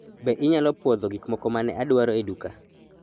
Be inyalo pwodho gik moko ma ne adwaro e duka?